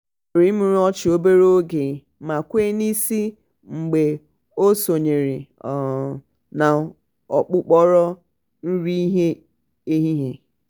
o mumuru imurimu ọchị obere oge ma kwee n'isi mgbe o sonyere um n'okpokoro nri ehihie.